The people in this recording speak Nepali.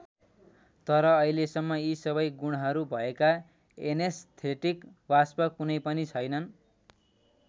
तर अहिलेसम्म यी सबै गुणहरू भएका एनेस्थेटिक वाष्प कुनै पनि छैनन्।